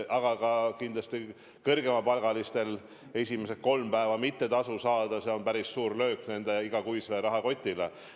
Aga kindlasti ka kõrgemapalgalistel on see, kui esimesed kolm päeva tasu mitte saada, päris suur löök nende igakuisele rahakotile.